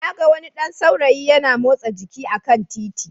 Na ga wani ɗan saurayi yana motsa jiki a kan titi